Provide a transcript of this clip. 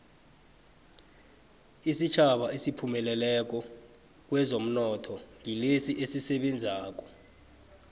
isitjhaba esiphumelelako kwezomnotho ngilesi esisebenzako